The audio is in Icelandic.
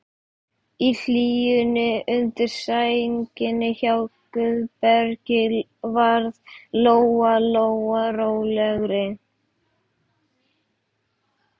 Í hlýjunni undir sænginni hjá Guðbergi varð Lóa Lóa rólegri.